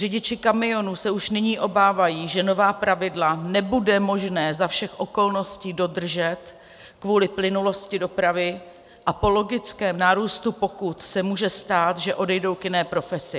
Řidiči kamionů se už nyní obávají, že nová pravidla nebude možné za všech okolností dodržet kvůli plynulosti dopravy, a po logickém nárůstu pokut se může stát, že odejdou k jiné profesi.